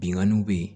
Binganiw bɛ yen